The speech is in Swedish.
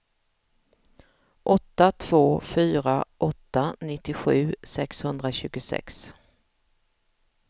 åtta två fyra åtta nittiosju sexhundratjugosex